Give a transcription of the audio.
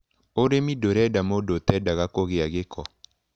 ũrĩmi ndũrenda mũndũ ũtendaga kũgĩa gĩko.